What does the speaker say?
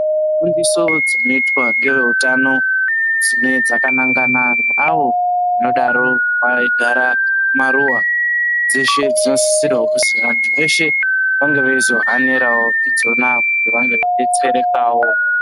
Dzidziso dzinoitwa ngeveutano dzinove dzakanangana neavo vanodaro veigara mumaruva dzeshe dzinosisirwa kuzi anthu eshe ange eizohanirawo idzona kuti vaonewo kudetserekawo.